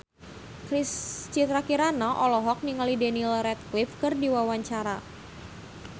Citra Kirana olohok ningali Daniel Radcliffe keur diwawancara